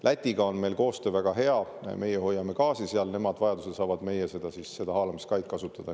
Lätiga on meil koostöö väga hea: meie hoiame seal gaasi, nemad saavad vajaduse korral meie haalamiskaid kasutada.